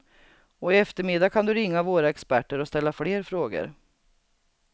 Och i eftermiddag kan du ringa våra experter och ställa fler frågor.